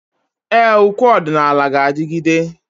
Ee, ukwe ọdịnala ga-adigide.